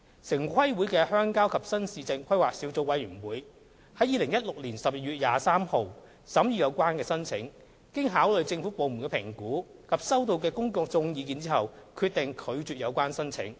城規會的鄉郊及新市鎮規劃小組委員會於2016年12月23日審議有關申請，經考慮政府部門的評估及收到的公眾意見後，決定拒絕有關申請。